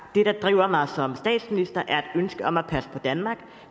det der driver mig som statsminister er et ønske om at passe på danmark